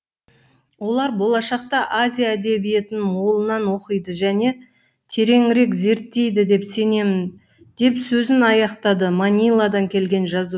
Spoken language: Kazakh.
олар болашақта азия әдебиетін молынан оқиды және тереңірек зерттейді деп сенемін деп сөзін аяқтады маниладан келген